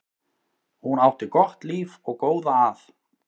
Hún átti gott líf og góða að.